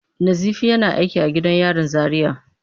Nazifi yana aiki a gidan yarin Zaria.